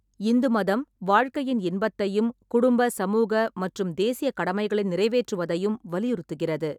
இந்து மதம் வாழ்க்கையின் இன்பத்தையும், குடும்ப, சமூக மற்றும் தேசியக் கடமைகளை நிறைவேற்றுவதையும் வலியுறுத்துகிறது.